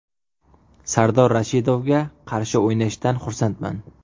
Sardor Rashidovga qarshi o‘ynashdan xursandman.